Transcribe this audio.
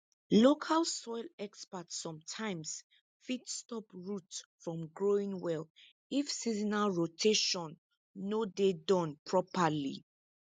local soil experts sometimes fit stop root from growing well if seasonal rotation no dey Accepted properly